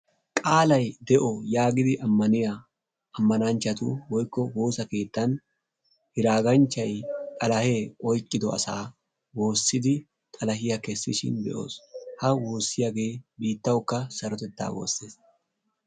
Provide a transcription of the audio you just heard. qaalay de'o yaagidi ammaniyaa ammananchchatu woykko woosa keettan hiraaganchchay xalahee oyqido asaa woossidi xalahiyaa kessishin be'os. Ha woossiyaagee bittawukka sarotettaa woosses.